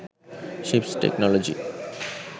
ships technology